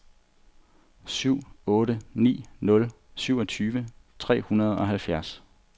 syv otte ni nul syvogtyve tre hundrede og halvfjerds